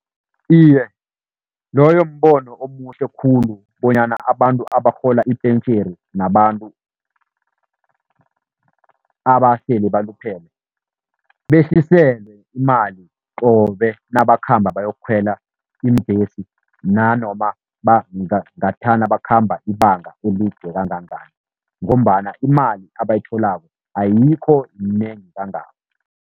Iye, loyo mbono omuhle khulu bonyana abantu abarhola ipentjheni nabantu abasele baluphele, behliselwe imali qobe nabakhamba bayokukhwela iimbhesi, nanoma ngathana bakhamba ibanga elide kangangani. Ngombana imali abayitholako ayikho yinengi kangako.